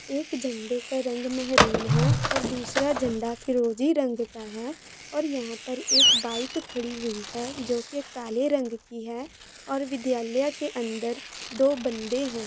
एक झंडे का रंग मेहरून है और दूसरा झंडा फिरोजी रंग का है और यहां पर एक बाइक खड़ी हुई है जो कि काले रंग की है और विद्यालय के अंदर दो बंदे हैं।